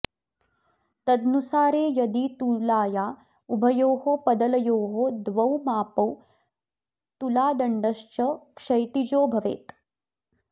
तदनुसारे यदि तुलाया उभयोर्पदलयोः द्वौ मापौ तुलादण्डश्च क्षैतिजो भवेत्